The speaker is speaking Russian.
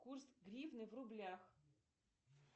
курс гривны в рублях